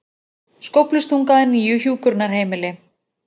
Skóflustunga að nýju hjúkrunarheimili